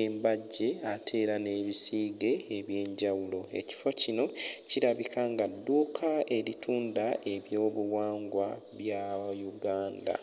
embajje ate era n'ebisiige eby'enjawulo. Ekifo kino kirabika nga dduuka eritunda eby'obuwangwa bya Uganda.